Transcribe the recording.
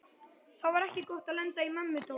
Það var ekki gott að lenda í mömmu Dóra.